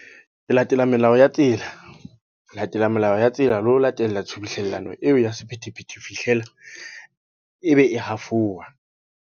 Re latela melao ya tsela. Latela melao ya tsela, le ho latela tshubuhlellano eo ya sephethephethe ho fihlela, ebe e hafolwa.